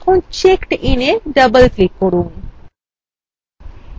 এখানে checkinএ double click করুন